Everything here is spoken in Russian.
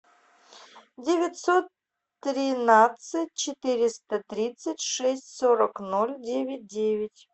девятьсот тринадцать четыреста тридцать шесть сорок ноль девять девять